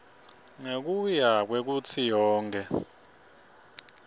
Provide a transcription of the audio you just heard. ngekuya kwekutsi yonkhe